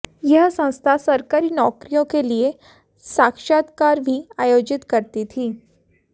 यह संस्था सरकारी नौकरियों के लिए साक्षात्कार भी आयोजित करती थी